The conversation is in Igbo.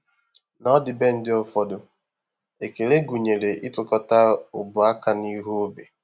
N’ọdịbendị ụfọdụ, ekele gụnyere ịtụkọta ọbụ aka n’ihu obi.